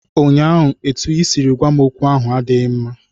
ụnyaahụ, etu i siri gwa m okwu ahụ adịghị mma